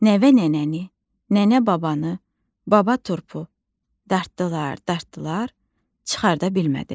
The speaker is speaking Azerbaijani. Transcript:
Nəvə nənəni, nənə babanı, baba turpu dartdılar, dartdılar, çıxarda bilmədilər.